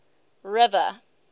river